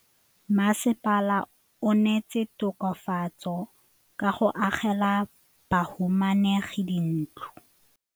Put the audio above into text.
Mmasepala o neetse tokafatsô ka go agela bahumanegi dintlo.